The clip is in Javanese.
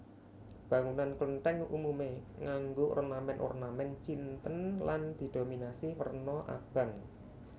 Bangunan Klenthèng umume nganggo ornamen ornamen Cinten lan didominasi werna abang